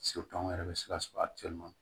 anw yɛrɛ bɛ se ka sɔrɔ a